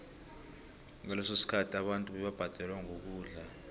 ngaleso sikhathi abantu bebabhadelwa ngokudla